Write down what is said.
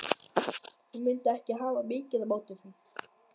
Ég mundi ekki hafa mikið á móti því.